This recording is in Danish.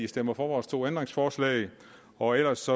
stemmer for vores to ændringsforslag og ellers